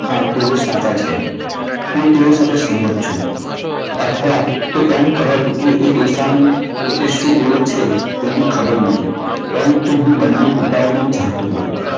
હા તેઓ સાચા છે. હું તેઓ સાથે સહમત છું. અથવા હું એમ કહે કે ડોસા ને પોતે શું બોલે છે તેની ખબર નથી. પરંતુ હું બંને પિતાઓને ચાહતો હતો.